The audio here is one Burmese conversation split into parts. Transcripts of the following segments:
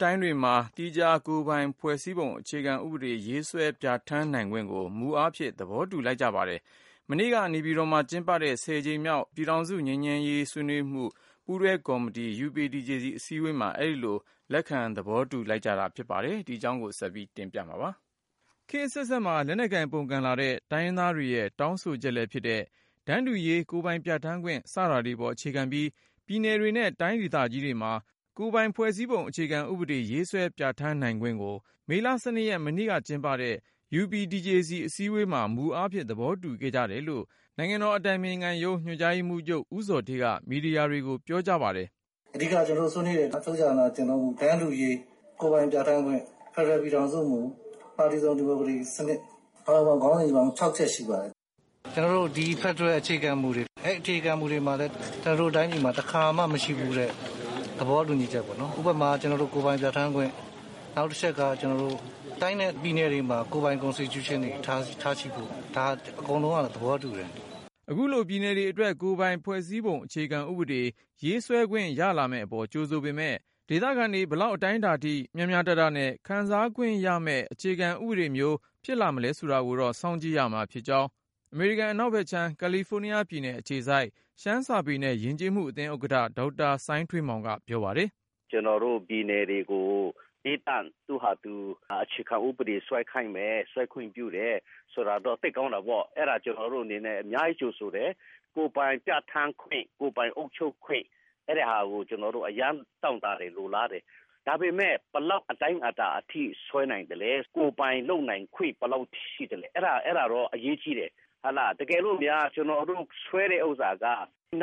တိုင်းတွေမှာ သီးခြား ကိုယ်ပိုင်ဖွဲ့စည်းပုံ အခြေခံဥပဒေ ရေးဆွဲပြဌာန်းနိုင်ခွင့်ကို မူအားဖြင့် သဘောတူလိုက်ကြပါတယ်။ မနေ့က နေပြည် တော်မှာ ကျင်းပတဲ့ ၁၀ကြိမ်မြောက် ပြည်ထောင်စု ငြိမ်းချမ်းရေးဆွေးနွေးမှု ပူးတွဲကော်မတီ UPDJC အစည်းအဝေးမှာ အဲဒီလို လက်ခံ သဘောတူ လိုက်ကြတာ ဖြစ်ပါတယ်။ ကိုဉာဏ်ဝင်းအောင်က တင်ပြထားပါတယ်။ ခေတ်အဆက်ဆက်မှာ လက်နက်ကိုင်ပုန်ကန်လာတဲ့ တိုင်းရင်းသားတွေရဲ့ တောင်းဆိုချက်လည်းဖြစ်တဲ့ တန်တူရေး၊ ကိုယ်ပိုင်ပြဌာန်းခွင့် စတာတွေပေါ် အခြေခံပြီး ပြည်နယ်တွေနဲ့ တိုင်းဒေသကြီးတွေမှာ ကိုယ်ပိုင် ဖွဲ့စည်းပုံအခြေခံဥပဒေ ရေးဆွဲပြဌာန်းနိုင်ခွင့်ကို မေလ ၁၂ ရက် မနေ့ကကျင်းပတဲ့ UPDJC အစည်းအဝေးမှာ မူအားဖြင့် သဘောတူခဲ့ကြတယ်လို့ နိုင်ငံတော် အတိုင်ပင်ခံရုံးဝန်ကြီးဌာန ညွန်ကြားရေးမှူးချုပ် ဦးဇော်ဌေးက မီဒီယာတွေကို ပြောပါတယ်။ " အဓိက ကျနော်တို့ဆွေးနွေးတာက တန်းတူရေး၊ ကိုယ်ပိုင်ပြဌာန်းခွင့်၊ ဖက်ဒရယ်ပြည်ထောင်စုမူ၊ ပါတီစုံဒီမိုကရေစီစနစ်၊ အားလုံးပေါင်းခေါင်းစဉ်ကြီး ခြောက်ချက်ရှိပါတယ်။ ကျနော်တို့ ဖက်ဒရယ်အခြေခံမှုတွေ အဲ့ဒီ့အခြေခံမူတွေမှာလည်း ကျနော်တို့ တိုင်းပြည်မှာ တခါမှ မရှိဖူးတဲ့ သဘောတူညီချက်ပေါ့နော် ဥပမာ ကိုယ်ပိုင်ပြဌာန်းခွင့်၊ နောက်တချက်က တိုင်းနဲ့ပြည်နယ်တွေမှာ ကိုယ်ပိုင် Constitutionတွေ ထားရှိဖို့ ဒါကို အကုန်လုံးက သဘောတူတယ်။" အခုလို ပြည်နယ်တွေအတွက် ကိုယ်ပိုင်ဖွဲ့စည်းပုံအခြေခံဥပဒေ ရေးဆွဲခွင့် ရလာမယ့်အပေါ် ကြိုဆိုပေမယ့်၊ ဒေသခံတွေ ဘယ်လောက် အတိုင်းအတာ အထိ မျှမျှတတ ခံစားခွင့်ရမယ့် အခြေခံဥပဒေမျိုး ဖြစ်လာမလား ဆိုတာကိုတော့ စောင့်ကြည့်ရမှာ ဖြစ်တယ်လို့ အမေရိကန် အနောက်ဖက်ခြမ်း ကာလီဖိုးနီးယား ပြည်နယ်အခြေစိုက် ရှမ်းစာပေနဲ့ ယဉ်ကျေးမှုအသင်း ဥက္ကဋ္ဌ ဒေါက်တာ စိုင်းထွေးမောင်က ပြောပါတယ်။ " ကျနော်တို့ပြည်နယ်တွေကို သီးသန့်သူ့ဟာသူ အခြေခံဥပဒေဆွဲခိုင်းမယ်။ ဆွဲခွင့်ပြုတယ် ဆိုတာတော့ သိပ်ကောင်းတာပေါ့။ အဲ့တာ ကျနော်တို့အနေနဲ့ အများကြီးကြိုဆိုတယ်။ ကိုယ်ပိုင်ပြဌာန်းခွင့်၊ ကိုယ်ပိုင်အုပ်ချုပ်ခွင့်၊ အဲ့တာကို ကျနော်တို့ အရမ်းတောင့်တတယ် လိုလားတယ်။ ဒါပေမဲ့ ဘယ်လောက်အတိုင်းအတာအထိ ဆွဲနိုင်သလဲ။ ကိုယ်ပိုင်လုပ်နိုင်ခွင့် ဘယ်လောက်ရှိသလဲ။ အဲ့တာတော့ အရေးကြီးတယ်။ တကယ်လို့များ ဆွဲတဲ့ဥစ္စာက ၂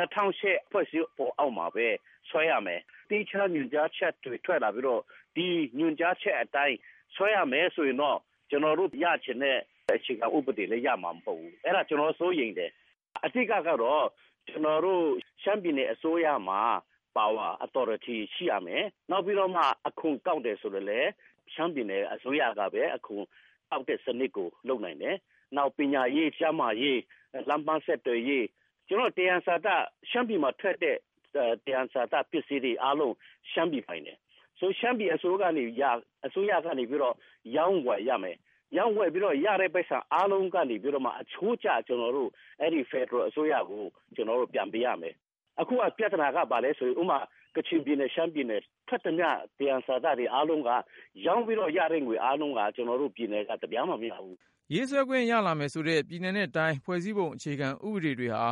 ၀၀၈ ဖွဲ့စည်းပုံအောက်မှာပဲ ဆွဲရမယ်။ သီးခြားညွှန်ကြားချက်တွေ ထွက်လာပြီးတော့ ဒီညွှန်ကြားချက် အတိုင်း ဆွဲရမယ်ဆိုရင်တော့ ကျနော်တို့ ရချင်တဲ့ အခြေခံဥပဒေလည်း ရမှာမဟုတ်ဘူး။ အဲ့တာကို ကျနော်စိုးရိမ်တယ်။ အဓိကကတော့ ရှမ်းပြည်နယ်အစိုးရမှာ Power authority ရှိရမယ်။ နောက်ပြီးတော့မှ အခွန်ကောက်တယ်ဆိုလည်း ရှမ်းပြည်နယ်အစိုးရကပဲ အခွန်ကောက်တဲ့စနစ်ကို လုပ်နိုင်တယ်။ နောက်ပညာရေး၊ ကျန်းမာရေး၊ လမ်းပမ်းဆက်သွယ်ရေး ရှမ်းပြည်နယ်မှာထွက်တဲ့ သံယံဇာတပစ္စည်းတွေအားလုံး ရှမ်းပြည်ပိုင်တယ်။ ရှမ်းပြည်အစိုးရကနေ ရောင်းဝယ်ရမယ်။ ရောင်းဝယ်ပြီး ရလာတဲ့ပိုက်ဆံအားလုံး ကနေပြီးတော့မှ အချိုးကျ ကျနော်တို့က ဖက်ဒရယ်အစိုးရကို ပြန်ပေးရမယ်။ အခုကပြသနာက ဘာလဲဆိုတော့ ကချင်ပြည်နယ် ရှမ်းပြည်နယ် ထွက်သမျှ သံယံဇာတရောင်းပြီး ရလို့ရတဲ့ငွေအားလုံးက ကျနော်တို့ပြည်နယ်က တပြားမှ မရဘူး။" ရေးဆွဲခွင့်ရလာမယ်ဆိုတဲ့ ပြည်နယ်နဲ့တိုင်းတွေ ဖွဲ့စည်းပုံအခြေခံဥပဒေတွေဟာ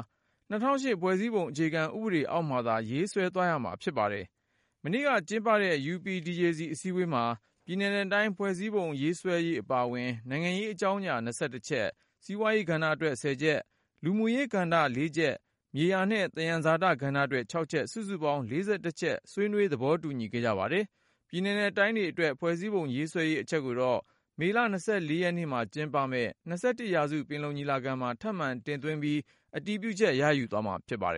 ၂၀၀၈ ဖွဲ့စည်းပုံအခြေခံဥပဒေ အောက်မှာသာ ရေးဆွဲသွားရမှာ ဖြစ်ပါ တယ်။ မနေ့ကကျင်းပတဲ့ UPDJC အစည်းအဝေးမှာ ပြည်နယ်နဲ့တိုင်း ဖွဲ့စည်းပုံရေးဆွဲရေး အပါအဝင် နိုင်ငံရေး အကြောင်းရာ ၂၁ ချက်၊ စီးပွားရေး ကဏ္ဍအတွက် ၁၀ ချက်၊ လူမှုရေးကဏ္ဍ ၄ချက်၊ မြေယာနဲ့သယံဇာတကဏ္ဍအတွက် ၆ချက် စုစုပေါင်း ၄၁ ချက်ဆွေးနွေး သဘောတူခဲ့ပါတယ်။ ပြည်နယ်နဲ့တိုင်းတွေအတွက် ဖွဲ့စည်းပုံရေးဆွဲရေး အချက်ကိုတော့ မေလ ၂၄ ရက်နေ့မှာ ကျင်းပမယ့် ၂၁ ရာစုပင်လုံ ညီလာခံမှာ ထပ်မံတင်သွင်းပြီး အတည်ပြုချက် ရယူသွားမှာ ဖြစ်ပါတယ်